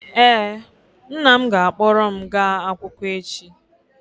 ee, nna m ga-akpọrọ m gaa akwụkwọ echi